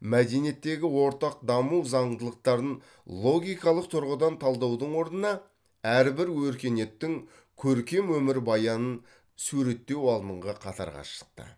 мәдениеттегі ортақ даму заңдылықтарын логикалық тұрғыдан талдаудың орнына әрбір өркениеттің көркем өмірбаянын суреттеу алдыңғы қатарға шықты